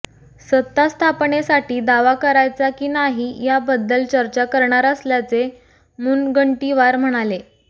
सत्तास्थापनेसाठी दावा कारायचा की नाही याबद्दल चर्चा करणार असल्याचे मुनगंटीवार म्हणाले